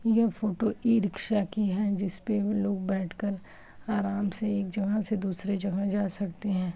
यह photo e rickshaw की है जिस पे लोग बैठकर आराम से एक जगह से दूसरी जगह जा सकते हैं।